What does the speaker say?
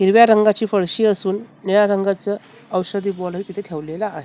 हिरव्या रंगाची फळशी असून निळ्या रंगाचं औषधी तिथं ठेवलेला आहे.